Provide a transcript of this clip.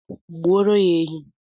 Gbuoro ha ehi